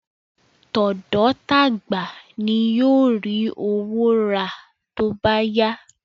Tọ̀dọ́ tagba ni yóò ri owó ra tóbá yá